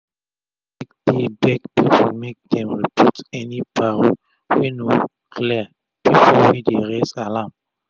sec dey beg pipu make dem report any paro wey no clear pipo wey dey raise alarm